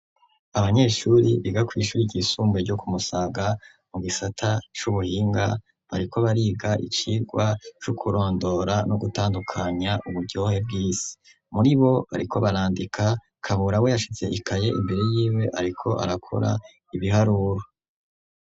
Abanyeshuri biga kw'ishuri ryisumbuye ryo ku Musaga mu gisata c'ubuhinga bariko bariga icirwa c'ukurondora no gutandukanya uburyohe bw'isi, muribo ariko barandika, Kabura we yashize ikaye imbere yiwe ariko arakora ibiharuro.